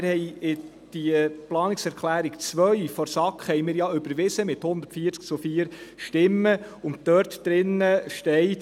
Wir haben die Planungserklärung 2 der SAK ja mit 140 zu 4 Stimmen überwiesen, und dort drin steht: